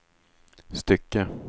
stycke